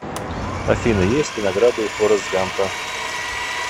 афина есть ли награды у форрест гампа